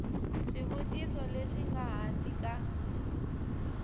swivutiso leswi nga hansi ka